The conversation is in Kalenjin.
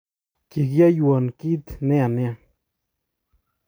Kikiyoiwon kit neya nia